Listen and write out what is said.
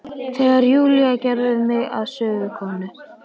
Þegar Júlía gerði mig að sögukonu.